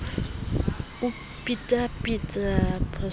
o phethaphetha phoso e le